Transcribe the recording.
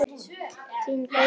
Þín Guðný Eik.